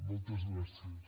moltes gràcies